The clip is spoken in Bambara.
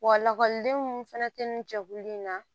Wa lakɔlidenw fɛnɛ tɛ nin jɛkulu in na